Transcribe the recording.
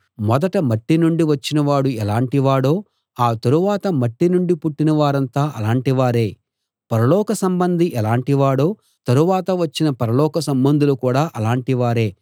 మొదట మట్టి నుండి వచ్చినవాడు ఎలాటివాడో ఆ తరువాత మట్టి నుండి పుట్టిన వారంతా అలాంటివారే పరలోక సంబంధి ఎలాటివాడో తరువాత వచ్చిన పరలోక సంబంధులు కూడా అలాటి వారే